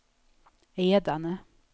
Edane